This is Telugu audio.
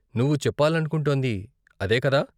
నువ్వు చెప్పాలనుకుంటోంది అదే కదా?